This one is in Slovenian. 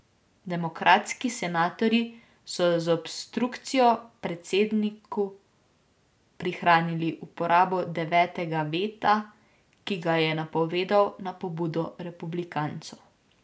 Demokratski senatorji so z obstrukcijo predsedniku prihranili uporabo devetega veta, ki ga je napovedal na pobudo republikancev.